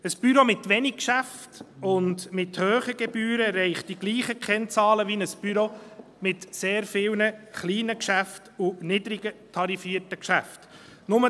Ein Büro mit wenig Geschäften und mit hohen Gebühren erreicht dieselben Kennzahlen wie ein Büro mit sehr vielen kleinen Geschäften und niedrig tarifierten Geschäften.